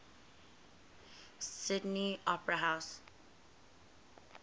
sydney opera house